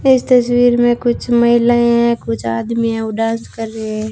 इस तस्वीर में कुछ महिलाएं हैं कुछ आदमी है वो डांस कर रहे--